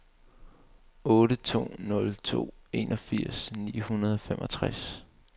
otte to nul to enogfirs ni hundrede og femogtres